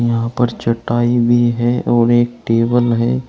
यहां पर चटाई भी है और एक टेबल है।